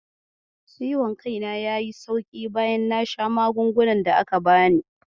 Ciwon kaina yayi sauƙi bayan na sha magungunan da da aka bani.